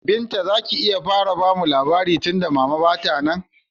Binta zaki iya bamu labari tunda mama ba ta nan?